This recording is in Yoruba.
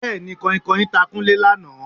Bẹ́ẹ̀ni, Kanhinkanhin ta Kúnlé lánàá